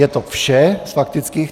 Je to vše z faktických.